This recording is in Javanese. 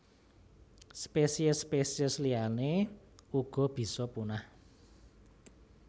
Spesiés spesiés liyané uga bisa punah